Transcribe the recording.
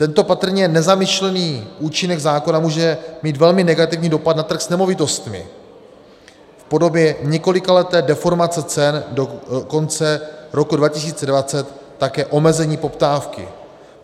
Tento patrně nezamýšlený účinek zákona může mít velmi negativní dopad na trh s nemovitostmi v podobě několikaleté deformace cen, do konce roku 2020 také omezení poptávky.